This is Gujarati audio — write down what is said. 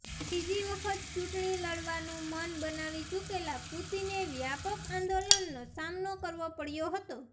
ત્રીજી વખત ચૂંટણી લડવાનું મન બનાવી ચૂકેલા પુતિને વ્યાપક આંદોલનનો સામનો કરવો પડ્યો હતો